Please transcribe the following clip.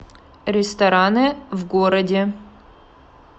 рестораны в городе